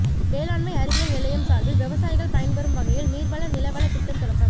வேளாண்மை அறிவியல் நிலையம் சாா்பில் விவசாயிகள் பயன்பெறும் வகையில் நீா்வள நிலவள திட்டம் தொடக்கம்